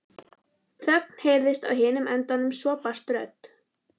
Þögn heyrðist á hinum endanum en svo barst rödd